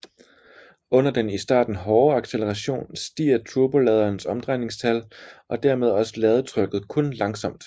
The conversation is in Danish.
Under den i starten hårde acceleration stiger turboladerens omdrejningstal og dermed også ladetrykket kun langsomt